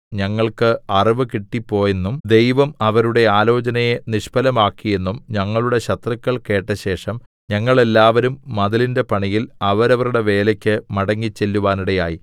ഞങ്ങൾക്ക് അറിവ് കിട്ടിപ്പോയെന്നും ദൈവം അവരുടെ ആലോചനയെ നിഷ്ഫലമാക്കിയെന്നും ഞങ്ങളുടെ ശത്രുക്കൾ കേട്ടശേഷം ഞങ്ങൾ എല്ലാവരും മതിലിന്റെ പണിയിൽ അവരവരുടെ വേലയ്ക്ക് മടങ്ങിചെല്ലുവാനിടയായി